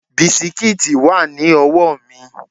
Bisikíìtì wà ní ọwọ́ mi